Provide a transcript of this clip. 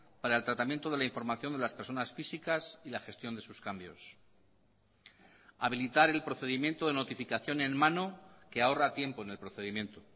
para el tratamiento de la información de las personas físicas y la gestión de sus cambios habilitar el procedimiento de notificación en mano que ahorra tiempo en el procedimiento